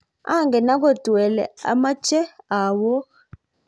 angen agot wele amoche awook